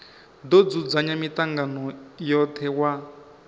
do dzudzanya mitangano yothe wa